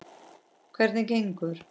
Hvernig gengur?